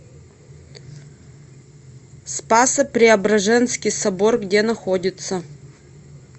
спасо преображенский собор где находится